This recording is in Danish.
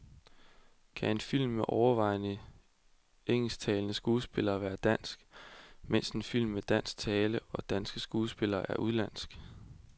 Kan en film med overvejende engelsktalende skuespillere være dansk, mens en film med dansk tale og danske skuespillere er udenlandsk.